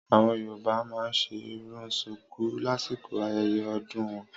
Àwọn yoruba ma nṣe irun ṣùkú lásìkò ayẹyẹ ọdún wọn.